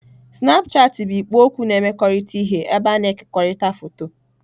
Snapchatị bụ ikpo okwu na-emekọrịta ihe ebe a na-ekekọrịta foto.